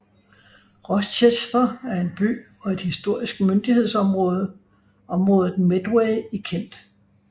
Rochester er en by og et historisk myndighedsområde området Medway i Kent